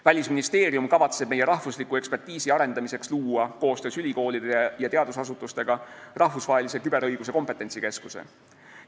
Välisministeerium kavatseb meie ekspertiisivõimekuse arendamiseks luua koostöös ülikoolide ja teadusasutustega rahvusvahelise küberõiguse kompetentsikeskuse.